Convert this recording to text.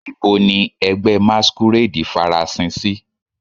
Nibo ni ẹgbẹ masquerade farasin si?